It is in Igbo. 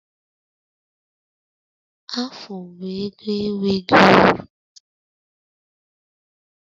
Afụ bụ ego enweghị uru